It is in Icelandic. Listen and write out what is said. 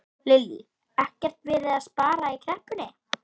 Lillý: Ekkert verið að spara í kreppunni?